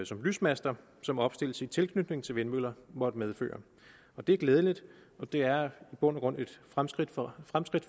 som lysmaster som opstilles i tilknytning til vindmøller måtte medføre det er glædeligt og det er i bund og grund et fremskridt for